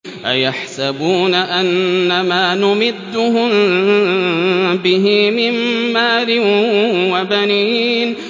أَيَحْسَبُونَ أَنَّمَا نُمِدُّهُم بِهِ مِن مَّالٍ وَبَنِينَ